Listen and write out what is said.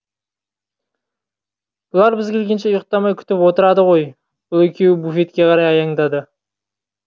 олар біз келгенше ұйықтамай күтіп отырады ғой бұл екеуі буфетке қарай аяңдады